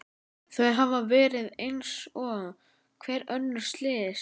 Þau hafa verið eins og hver önnur slys.